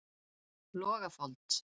Logafold